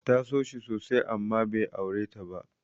Ta so shi sosai amma bai aure ta ba.